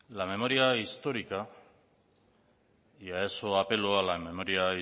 la memoria histórica y a eso apelo a la memoria